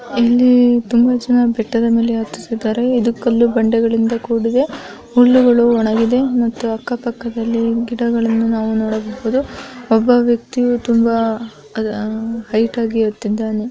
ಇಲ್ಲಿ ತುಂಬಾ ಜನ ಬೆಟ್ಟದ ಮೇಲೆ ಹತ್ತುತ್ತಿದ್ದಾರೆ. ಇದು ಕಲ್ಲು ಬಂಡೆಗಳಿಂದ ಕೂಡಿದೆ ಹುಲ್ಲುಗಳು ಒಣಗಿದೆ ಮತ್ತು ಅಕ್ಕ ಪಕ್ಕದಲ್ಲಿ ಗಿಡಗಳನ್ನು ನಾವು ನೋಡಬಹುದು ಒಬ್ಬ ವ್ಯಕ್ತಿಯು ತುಂಬಾ ಆಆ ಹೈಟ್ ಆಗಿ ಹತ್ತಿದ್ದಾನೆ.